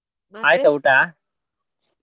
ಊಟಾ?